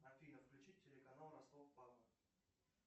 афина включи телеканал ростов папа